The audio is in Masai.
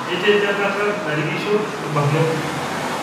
Etejo enkata narikisho ilbarnot